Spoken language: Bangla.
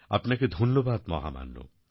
আপনাকে ধন্যবাদ মহামান্য